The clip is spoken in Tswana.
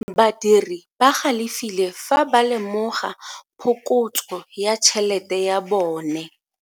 Badiri ba galefile fa ba lemoga phokotso ya tšhelete ya bone.